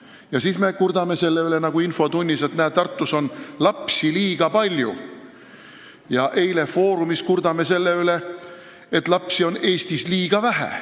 Ja siis me kurdame selle üle, nagu infotunnis, et näe, Tartus on lapsi liiga palju, eile "Foorumis" kurtsime aga selle üle, et lapsi on Eestis liiga vähe.